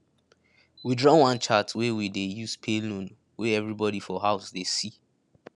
we draw one chart wey we dey use pay loan wey everybody for house dey see